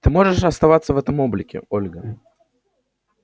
ты можешь оставаться в этом облике ольга